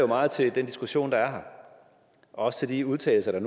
meget til den diskussion der er her og til de udtalelser der